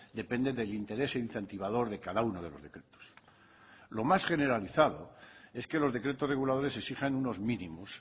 depende del interés incentivador de cada uno de los decretos los más generalizado es que los decretos reguladores exijan unos mínimos